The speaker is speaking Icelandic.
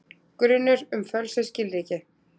Grunur um fölsuð skilríki